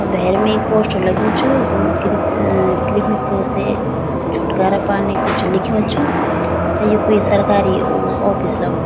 भैरम् एक पोस्टर लग्युं च वखम क्रिक कृमिको से छुटकारा पाने कुछ लिख्युं च अ यी कुई सरकारी ओ ऑफिस लगणु --